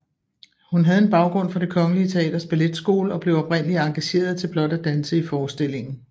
Hun havde en baggrund fra Det Kongelige Teaters Balletskole og blev oprindeligt engageret til blot at danse i forestillingen